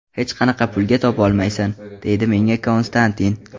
Hech qanaqa pulga topolmaysan”, deydi menga Konstantin.